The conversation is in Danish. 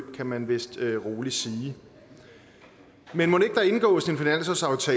kan man vist roligt sige men mon ikke der indgås